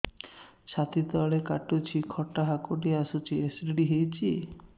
ଛାତି ତଳେ କାଟୁଚି ଖଟା ହାକୁଟି ଆସୁଚି ଏସିଡିଟି ହେଇଚି